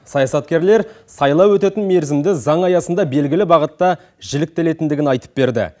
саясаткерлер сайлау өтетін мерзімді заң аясында белгілі бағытта жіліктелетіндігін айтып берді